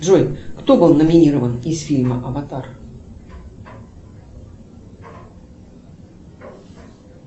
джой кто был номинирован из фильма аватар